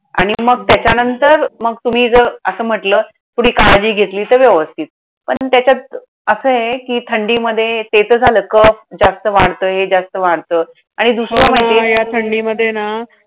आणि मग त्याच्यानंतर मग तुम्ही जर असं म्हटलं, थोडी काळजी घेतली तर व्यवस्थित. पण त्याच्यात असंय कि थंडीमध्ये हे तर झालं. cough जस्ट वाढतो, हे जास्त वाढतं. आणि दुसरं म्हणजे हो हो ह्या थंडीमध्ये ना